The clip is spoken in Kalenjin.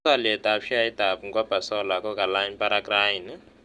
Tos' alyetap sheaitap mkopa solar ko kalany parak raini